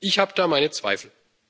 Ich habe da meine Zweifel.